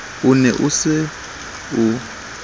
o ne o e so